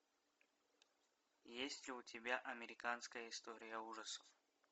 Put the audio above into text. есть ли у тебя американская история ужасов